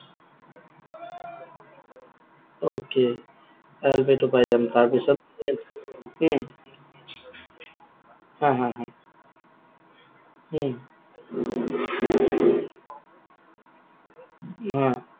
Okay ILP টো পাই যাম, তাৰপিছত? উম হা, হা, হা। উম অ।